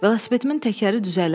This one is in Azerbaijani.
Velosipedimin təkəri düzələr?